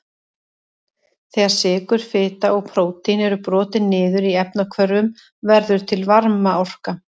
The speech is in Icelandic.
Þegar sykur, fita og prótín eru brotin niður í efnahvörfum verður til varmaorka.